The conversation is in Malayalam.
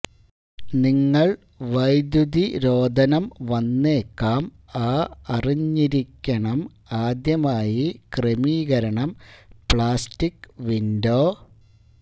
നിങ്ങൾ വൈദുതിരോധനം വന്നേക്കാം ആ അറിഞ്ഞിരിക്കണം ആദ്യമായി ക്രമീകരണം പ്ലാസ്റ്റിക് വിൻഡോ